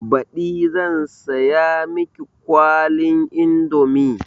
Baɗi zan siya miki kwalin indomi